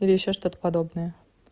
или ещё что-то подобное